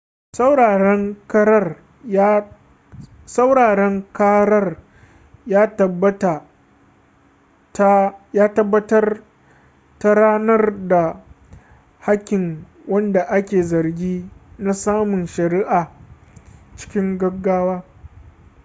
sauraren karar ya tabbatar da ranar da hakkin wanda ake zargi na samun shari'a cikin gaggawa